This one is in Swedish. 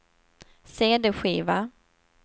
cd-skiva